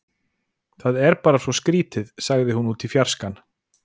Það er bara svo skrýtið- sagði hún út í fjarskann.